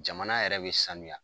Jamana yɛrɛ bi sanuya